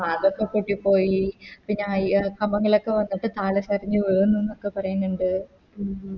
അതൊക്കെ പൊട്ടിപ്പോയി പിന്നെ അയ്യാ കമ്പങ്ങളൊക്കെ വന്നിട്ട് കാലേ തടഞ്ഞ് വീന്നിന്നൊക്കെ പറയ്ന്ന്ണ്ട്